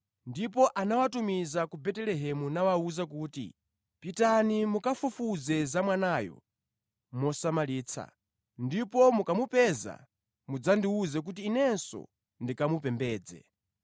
Ndipo anawatumiza ku Betelehemu nawawuza kuti, “Pitani mukafufuze za mwanayo mosamalitsa. Ndipo mukamupeza mudzandiwuze kuti inenso ndikamupembedze.”